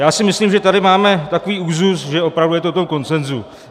Já si myslím, že tady máme takový úzus, že opravdu je to v tom konsenzu.